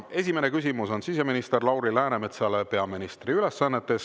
Esimene küsimus on siseminister Lauri Läänemetsale peaministri ülesannetes.